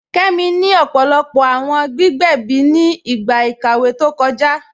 Kẹmi ni ọpọlọpọ awọn gbígbẹ̀bí ni igba ikàwé tó kọja.